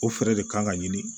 O fɛɛrɛ de kan ka ɲini